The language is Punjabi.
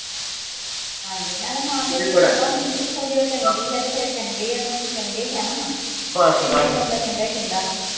ਹਾਂਜੀ ਣਾਲੈ ਮਾਂ ਪੇ ਦੀ ਸੇਵਾ ਹੁੰਦੀ ਤੇ ਜੇ ਉਹ ਚੰਗੇ ਆ ਉਹਨਾਂ ਨੂੰ ਚੰਗਾ ਈ ਕਹਿਣਾ ਵਾਂ ਚੰਗੇ ਨੂੰ ਬੰਦਾ ਚੰਗਾ ਈ ਕਹਿੰਦਾ ਵਾਂ ਬਸ -ਬਸ, ਚੰਗੇ ਨੂੰ ਬੰਦਾ ਚੰਗਾ ਹੀ ਕਹਿੰਦਾ ਵਾ